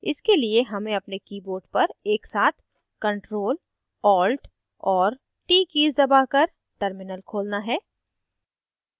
इसके लिए हमें अपने keyboard पर एकसाथ ctrl alt और t कीज़ दबाकर terminal खोलना है